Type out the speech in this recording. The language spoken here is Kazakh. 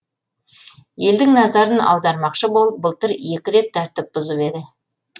елдің назарын аудармақшы болып былтыр екі рет тәртіп бұзып еді